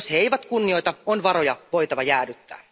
Jos he eivät kunnioita, on varoja voitava jäädyttää.